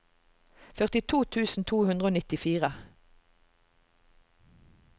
førtito tusen to hundre og nittifire